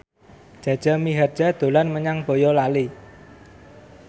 Jaja Mihardja dolan menyang Boyolali